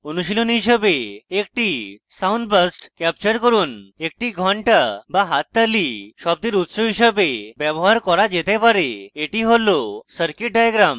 অনুশীলনী হিসেবে